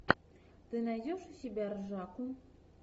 ты найдешь у себя ржаку